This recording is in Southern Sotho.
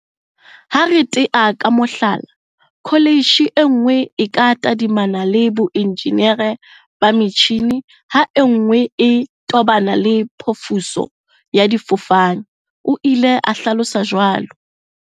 Ha re tea ka mohlala, kho letjhe e nngwe e ka tadimana le boenjenere ba metjhini ha e nngwe e tobana le phofiso ya difofane, o ile a hlalosa jwalo.